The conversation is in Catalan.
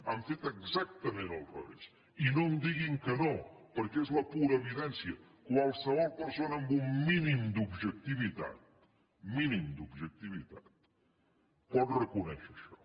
han fet exactament al revés i no em diguin que no perquè és la pura evidència qualsevol persona amb un mínim d’objectivitat mínim d’objectivitat pot reconèixer això